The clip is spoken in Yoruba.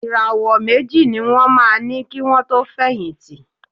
Ìràwọ̀ méjì ní wọ́n máa ní kì wọn tó fẹ̀yìntì.